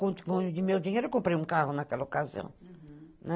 Com meu comprei um carro naquela ocasião, né?